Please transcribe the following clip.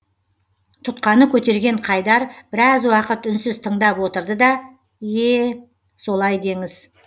тұтқаны көтерген қайдар біраз уақыт үнсіз тыңдап отырды да е солай деңіз